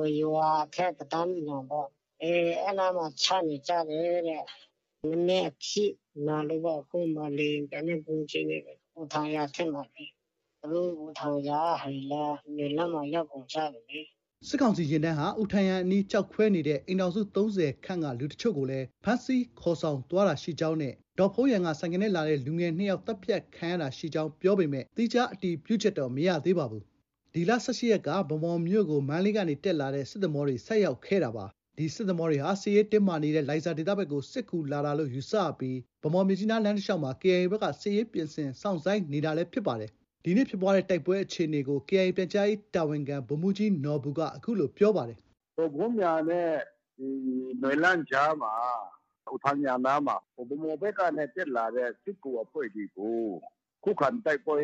၊ ရွာအထက် တံတားညီနောင်ပေါ့။ အဲဒီနားမှာ ချနေကြတယ်တဲ့။ နည်းနည်းအထိနာလို့ပေါ့။ အခု လေယာဉ်ပျံနဲ့ ဗုံးကြဲနေတယ်။ အူထန်ယန်အထက်မှာလေ။ သူတို့ အူထန်ယန်ကဟာတွေလည်း နွမ်းလန်းမှာ ရောက်ကုန်ကြပြီ။” စစ်ကောင်စီယာဉ်တန်းက အူထန်ယန်အနီး ကျောက်ခွဲနေတဲ့ အိမ်ထောင်စု ၃၀ ခန့်ကလူအချို့ကို ဖမ်းဆီးခေါ်ဆောင်သွားတာရှိကြောင်းနဲ့ ဒေါ့ဖုန်းယန်က ဆိုင်ကယ်နဲ့လာတဲ့လူငယ်နှစ်ယောက် သတ်ဖြတ်ခံရတာရှိကြောင်း ပြောပေမဲ့ သီးခြား အတည်ပြုချက်တော့ မရသေးပါဘူး။ ဒီလ ၁၈ ရက်နေ့က ဗန်းမော်မြို့ကို မန္တလေးကနေတက်လာတဲ့ စစ်သင်္ဘောတွေ ဆိုက်ရောက်ခဲ့တာပါ။ ဒီစစ်သင်္ဘောတွေဟာ စစ်ရေးတင်းမာနေတဲ့ လိုင်ဇာဒေသဘက်ကို စစ်ကူလာတာယူဆပြီး ဗန်းမော်-မြစ်ကြီးနား လမ်းတလျောက်မှာ KIA ဘက်က စစ်ရေးပြင်ဆင်စောင့်ဆိုင်းနေခဲ့တာလည်းဖြစ်ပါတယ်။ ဒီနေ့ ဖြစ်ပွားတဲ့ တိုက်ပွဲအခြေအနေကို KIA ပြန်ကြားရေးတာဝန်ခံ ဗိုလ်မှုးကြီးနော်ဘူက အခုလို ပြောပါတယ်။ “ဒေါ့ဖုန်းယန်နဲ့ နွမ်းလန်းကြားမှာ အူထန်ယန်နားမှာ ဗန်းမော်ဘက်ကတက်လာတဲ့ စစ်ကူအဖွဲ့တွေကို ခုခံတိုက်ပွဲ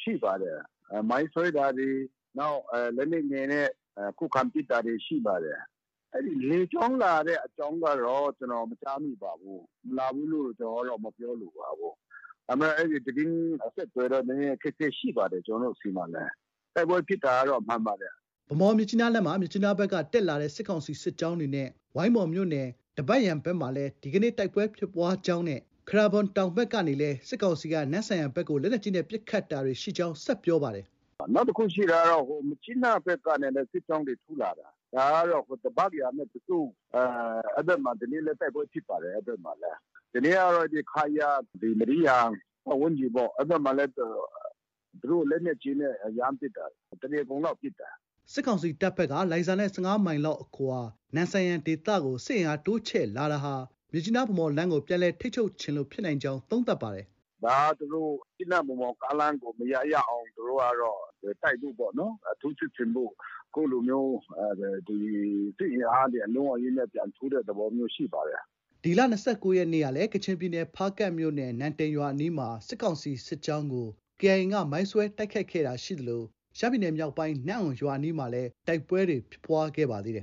ရှိပါတယ်။ မိုင်းဆွဲတာတွေ၊ နောက် လက်နက်ငယ်နဲ့ ခုခံပစ်တာတွေ ရှိပါတယ်။ အဲဒီ လေကြောင်းလာတဲ့အကြောင်းကတော့ ကျနော် မကြားမိပါဘူး။ မလာဘူးလို့ ကျနော်ကတော့ မပြောလိုပါဘူး။ ဒါပေမဲ့ အဲဒီသတင်းအဆက်အသွယ်တော့ အခက်အခဲရှိပါတယ်။ ကျနော်တို့ ဆီမှာလည်း။ တိုက်ပွဲဖြစ်တာကတော့မှန်ပါတယ်။” ဗန်းမော်-မြစ်ကြီးနားလမ်းမှာ မြစ်ကြီးနားဘက်က တက်လာတဲ့ စစ်ကောင်စီစစ်ကြောင်းတွေနဲ့ ဝိုင်းမော်မြို့နယ် ဒဘတ်ယန်ဘက်မှာလည်း ဒီကနေ့ တိုက်ပွဲဖြစ်ပွားကြောင်းနဲ့ ခရာဘွမ်တောင်ဘက်ကနေလည်း စစ်ကောင်စီက နမ့်ဆန်ယန်ဘက်ကို လက်နက်ကြီးနဲ့ ပစ်ခတ်တာတွေ ရှိကြောင်း ဆက်ပြောပါတယ်။ “ နောက်တခုရှိတာကတော့ မြစ်ကြီးနားဘက်ကနေလည်း စစ်ကြောင်းတွေ ထိုးလာတာ။ ဒါကတော့ ဒဘတ်ယန်နဲ့ ကဇု အဲဒီဘက်မှာတော့ ဒီနေ့လည်း တိုက်ပွဲဖြစ်ပါတယ်။ အဲဒီဘက်မှာလည်း။ ဒီနေ့ကတော့ ခရာ၊ ဒီ မဒီးယန်ပတ်ဝန်းကျင်မှာလည်း လက်နက်ကြီးနဲ့ ရမ်းပစ်တာ တနေကုန်လောက်ပစ်တယ်။” စစ်ကောင်စီတပ်ဘက်က လိုင်ဇာနဲ့ ၁၅မိုင်လောက်အကွာ နမ့်ဆန်ယန်ဒေသကို စစ်အင်အားတိုးချဲ့လာတာဟာ မြစ်ကြီးနား- ဗန်းမော်လမ်းကို ပြန်လည် ထိန်းချုပ်ချင်လို့ ဖြစ်နိုင်ကြောင်း သုံးသပ်ပါတယ်။ “ဒါ သူတို့ မြစ်ကြီးနား- ဗန်းမော်ကားလမ်းကို မရ၊ ရအောင် တိုက်ဖို့ပေါ့။ ထိုးစစ်ဆင်ဖို့ အခုလိုမျိုးစစ်အင်အားတွေ အလုံးအရင်းနဲ့ ပြန်ထိုးတဲ့ သဘောမျိုးရှိပါတယ်။” ဒီလ ၂၉ ရက်နေ့က ကချင်ပြည်နယ် ဖားကန့်မြို့နယ် နမ့်တိန်ရွာအနီးမှာ စစ်ကောင်စီစစ်ကြောင်းကို KIA က မိုင်းဆွဲတိုက်ခိုက်တာရှိခဲ့သလို ရှမ်းပြည်နယ်မြောက်ပိုင်း နမ့်အွန်ရွာအနီးမှာလည်း တိုက်ပွဲဖြစ်ပွားခဲ့ပါသေးတယ်